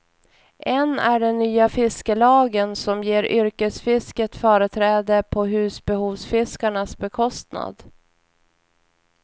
En är den nya fiskelagen som ger yrkesfisket företräde på husbehovsfiskarnas bekostnad.